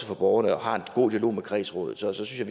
for borgerne og har en god dialog med kredsrådet så synes jeg